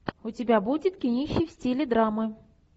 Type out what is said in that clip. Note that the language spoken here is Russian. у тебя будет кинище в стиле драмы